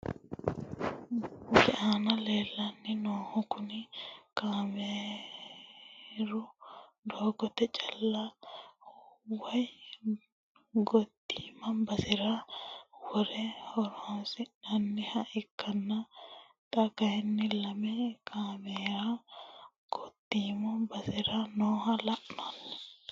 Misilete aana leelani noohu kuni kaameeru doogote calla woyi gotiima basera wore horonsinaniha ikanna xa kayiini lame kaamera gotiima basera nooha la`nani.